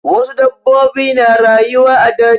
Wasu dabbobi na rayuwa a daji.